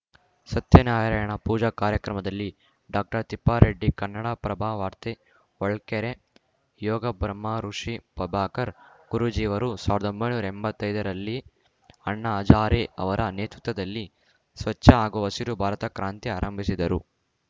ಸತ್ಯ ನಾರಾಯಣ ಪೂಜಾ ಕಾರ್ಯಕ್ರಮದಲ್ಲಿ ಡಾಕ್ಟರ್ ತಿಪ್ಪಾರೆಡ್ಡಿ ಕನ್ನಡಪ್ರಭ ವಾರ್ತೆ ಹೊಳಲ್ಕೆರೆ ಯೋಗ ಬ್ರಹ್ಮ ಋುಷಿ ಪ್ರಭಾಕರ್‌ ಗುರೂಜಿಯವರು ಸಾವಿರದೊಂಬೈನೂರಾ ಎಂಬತ್ತೈದರಲ್ಲಿ ಅಣ್ಣಾ ಹಜಾರೆ ಅವರ ನೇತೃತ್ವದಲ್ಲಿ ಸ್ವಚ್ಛ ಹಾಗೂ ಹಸಿರು ಭಾರತದ ಕ್ರಾಂತಿ ಆರಂಭಿಸಿದರು